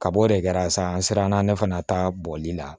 Kab'o de kɛra sa an siranna ne fana ta bɔli la